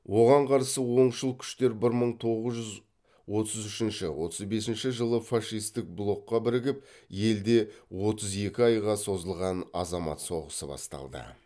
оған қарсы оңшыл күштер бір мың тоғыз жүз отыз үшінші отыз бесінші жылы фашистік блокқа бірігіп елде отыз екі айға созылған азамат соғысы басталды